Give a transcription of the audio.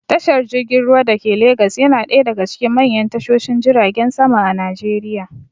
Tashar jirgin ruwa dake legas yana ɗaya daga cikin manyan tashoshin jiragen sama a najeriya